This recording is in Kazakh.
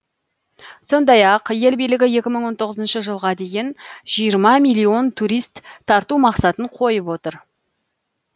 сондай ақ ел билігі екі мың он тоғызыншы жылға дейін жиырма миллион турист тарту мақсатын қойып отыр